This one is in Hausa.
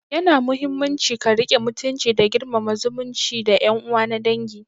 Yana muhimmanci ka riƙe mutunci da girmama zumunci da yan uwa na dangi